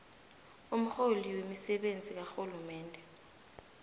umrholi wemisebenzi karhulumende